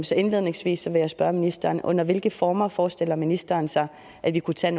så indledningsvis vil jeg spørge ministeren under hvilke former forestiller ministeren sig at vi kunne tage